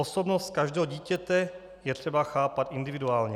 Osobnost každého dítěte je třeba chápat individuálně.